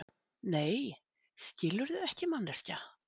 Nei, skilurðu ekki, manneskja.